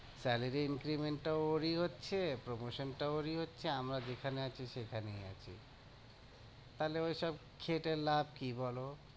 Salary increment টা ওরই হচ্ছে promotion টাও ওরই হচ্ছে, আমরা যেখানে আছি সেখানেই আছি তাহলে ওইসব খেটে লাভ কি বলো?